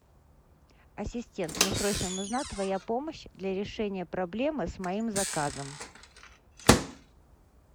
ассистент мне срочно нужна твоя помощь для решения проблемы с моим заказом